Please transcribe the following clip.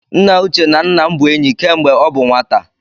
Nna Uche na nna m bụ enyi kemgbe ọ bụ nwata